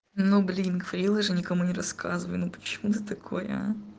ну блин говорила же никому не рассказывай ну почему ты такой а